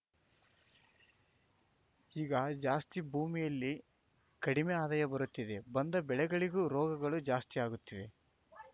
ಈಗ ಜಾಸ್ತಿ ಭೂಮಿಯಲ್ಲಿ ಕಡಿಮೆ ಆದಾಯ ಬರುತ್ತಿದೆ ಬಂದ ಬೆಳೆಗಳಿಗೂ ರೋಗಗಳು ಜಾಸ್ತಿಯಾಗುತ್ತಿವೆ